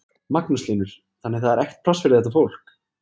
Magnús Hlynur: Þannig að það er ekkert pláss fyrir þetta fólk?